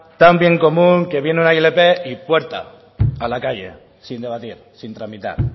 tan bien común que viene una ilp y puerta a la calle sin debatir sin tramitar